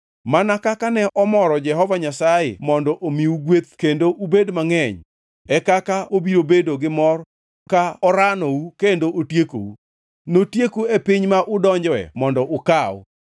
Mana kaka ne omoro Jehova Nyasaye mondo omiu gweth kendo ubed mangʼeny, e kaka obiro bedo gi mor ka oranou kendo otiekou. Notieku e piny ma udonjoe mondo ukaw.